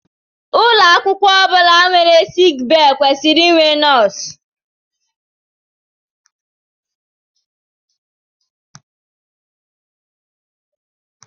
Ụlọ akwụkwọ ọ bụla nwere sickbay kwesịrị inwe nọọsụ